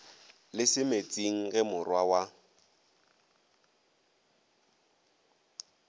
le semetsing ge morwa wa